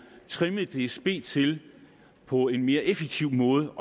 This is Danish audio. trimmet dsb til på en mere effektiv måde